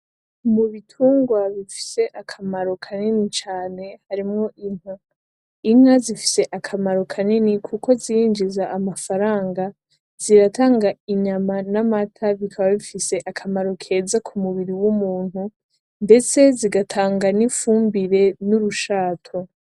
Mu bitungwa bifise akamaro kanini cane harimwo inka. Inka zifise akamaro kanini kuko zirinjiza amafaranga, ziratanga inyama n'amata bikaba bifise akamaro keza ku mubiri w'umuntu, ndetse zigatanga n'ifumbire n'urushato.